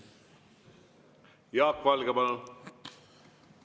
Jaak Valge, palun!